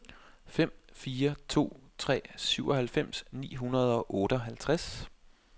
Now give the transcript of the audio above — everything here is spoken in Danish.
fem fire to tre syvoghalvfems ni hundrede og otteoghalvtreds